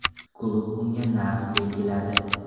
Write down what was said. Klub unga narx belgiladi.